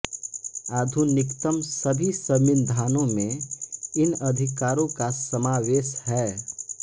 आधुनिकतम सभी संविधानों में इन अधिकारों का समावेश है